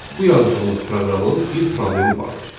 Bu yazdığımız proqramın bir problemi vardır.